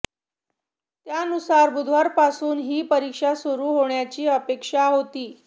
त्यानुसार बुधवारपासून ही परीक्षा सुरू होण्याची अपेक्षा होती